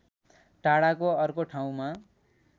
टाढाको अर्को ठाउँमा